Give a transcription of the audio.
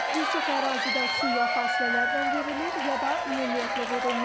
Bir çox ərazidə su ya fasilələrlə verilir, ya da ümumiyyətlə verilmir.